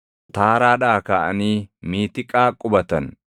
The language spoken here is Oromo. Taaraadhaa kaʼanii Miitiqaa qubatan.